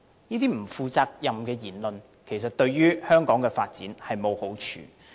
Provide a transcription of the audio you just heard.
這些不負責任的言論，其實對香港的發展沒有好處。